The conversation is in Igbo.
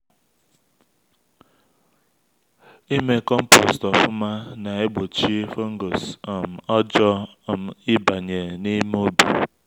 ime compost ofu-ma na-egbochi fungus um ọjọọ um ịbanye na-eme ubi